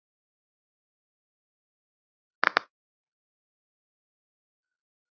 Þau eiga fjögur börn.